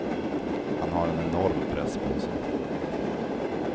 Han har en enorm press på sig.